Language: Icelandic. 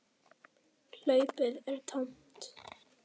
Hlaupið er tómt.